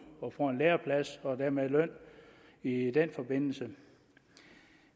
og får en læreplads og dermed løn i den forbindelse